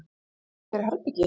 Leigja þér herbergi?